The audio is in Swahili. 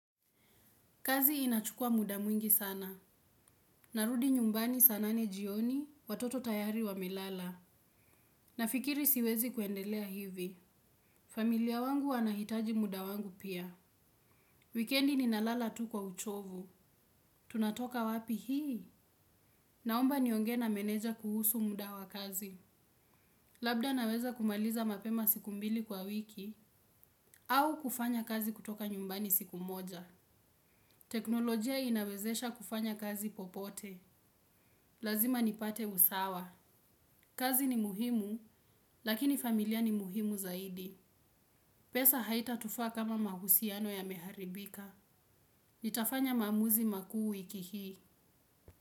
Kazi inachukua muda mwingi sana. Narudi nyumbani saa nane jioni watoto tayari wamelala. Nafikiri siwezi kuendelea hivi. Familia wangu wanahitaji muda wangu pia. Wikendi ninalala tu kwa uchovu. Tunatoka wapi hii. Naomba niongee na meneja kuhusu muda wa kazi. Labda naweza kumaliza mapema siku mbili kwa wiki. Au kufanya kazi kutoka nyumbani siku moja. Teknolojia inawezesha kufanya kazi popote. Lazima nipate usawa. Kazi ni muhimu, lakini familia ni muhimu zaidi. Pesa haita tufaa kama mahusiano yameharibika. Nitafanya maamuzi makuu wiki hii.